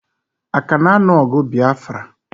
Aka na anu ogu Biafra?